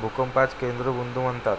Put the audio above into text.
भूकंपाचा केंद्रबिंदू म्हणतात